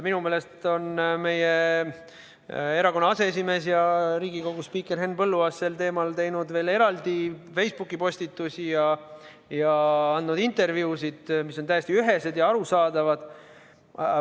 Minu meelest on meie erakonna aseesimees, Riigikogu spiiker Henn Põlluaas sel teemal teinud veel eraldi Facebooki postitusi ning andnud intervjuusid, mis on täiesti ühesed ja arusaadavad.